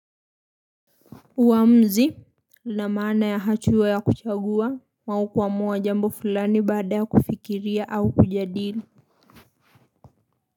Uamuzi na maana ya hachua ya kuchagua maukuwa mwa jambo fulani baada ya kufikiria au kujadili.